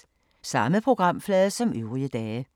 Samme programflade som øvrige dage